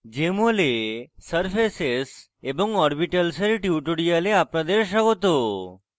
jmol এ surfaces এবং orbitals এর tutorial আপনাদের স্বাগত